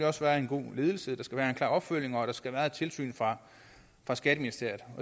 også være en god ledelse der skal være en klar opfølgning og der skal være et tilsyn fra skatteministeriet